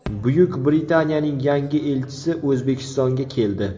Buyuk Britaniyaning yangi elchisi O‘zbekistonga keldi.